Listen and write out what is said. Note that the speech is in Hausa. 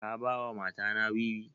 Ka ba wa mata na wiwi?